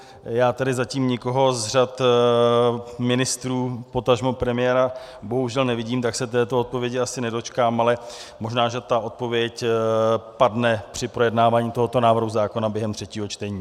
Já tedy zatím nikoho z řad ministrů, potažmo premiéra bohužel nevidím, tak se této odpovědi asi nedočkám, ale možná, že ta odpověď padne při projednávání tohoto návrhu zákona během třetího čtení.